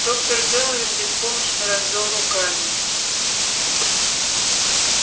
доктор кэлвин беспомощно развёл руками